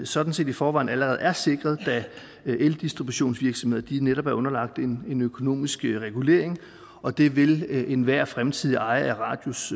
sådan set i forvejen allerede er sikret da eldistributionsvirksomheder netop er underlagt en en økonomisk regulering og det vil enhver fremtidig ejer af radius